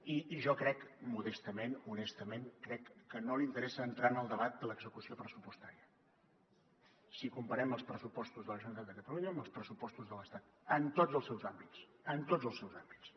i jo crec modestament honestament que no li interessa entrar en el debat de l’execució pressupostària si comparem els pressupostos de la generalitat de catalunya amb els pressupostos de l’estat en tots els seus àmbits en tots els seus àmbits